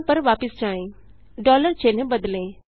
programme पर वापस जाएँ चिन्ह बदलें